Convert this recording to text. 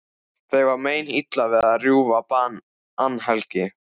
Þeim var meinilla við að rjúfa bannhelgi